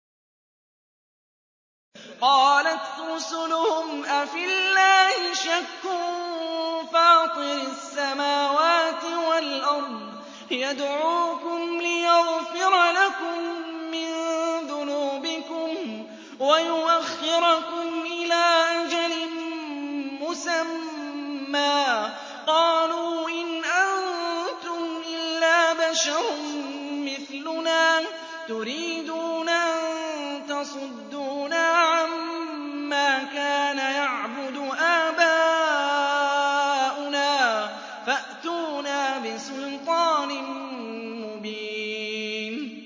۞ قَالَتْ رُسُلُهُمْ أَفِي اللَّهِ شَكٌّ فَاطِرِ السَّمَاوَاتِ وَالْأَرْضِ ۖ يَدْعُوكُمْ لِيَغْفِرَ لَكُم مِّن ذُنُوبِكُمْ وَيُؤَخِّرَكُمْ إِلَىٰ أَجَلٍ مُّسَمًّى ۚ قَالُوا إِنْ أَنتُمْ إِلَّا بَشَرٌ مِّثْلُنَا تُرِيدُونَ أَن تَصُدُّونَا عَمَّا كَانَ يَعْبُدُ آبَاؤُنَا فَأْتُونَا بِسُلْطَانٍ مُّبِينٍ